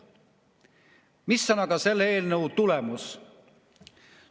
Mis on aga selle eelnõu tulemus?